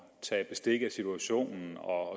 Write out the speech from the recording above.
tage bestik af situationen og